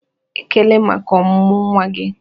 "Ekele maka ọmụmụ nwa gị!"